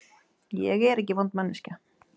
Ég er ekki vond manneskja.